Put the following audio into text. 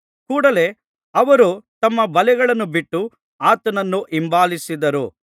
ಕೂಡಲೆ ಅವರು ತಮ್ಮ ಬಲೆಗಳನ್ನು ಬಿಟ್ಟು ಆತನನ್ನು ಹಿಂಬಾಲಿಸಿದರು